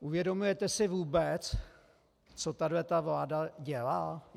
Uvědomujete si vůbec, co tato vláda dělá?